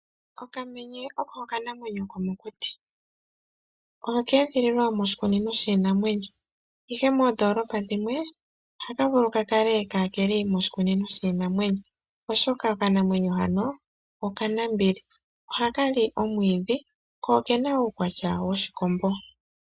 Okamenye oko okanamwenyo komokuti ,okedhililwa moshikunino shinamwenyo ihe ,moondolopa dhimwe ohaka vulu kakale kakeli moshikunino shinamwenyo oshoka okanamwenyo hano okanambili ,ohaka li omwiidhi ko okena uukwatya woshikombo.